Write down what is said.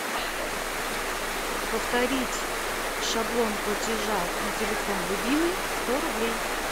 повторить шаблон платежа на телефон любимый сто рублей